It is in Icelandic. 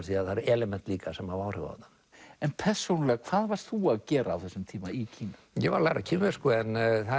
því það eru element líka sem hafa áhrif á þetta en persónulega hvað varst þú að gera á þessum tíma í Kína ég var að læra kínversku en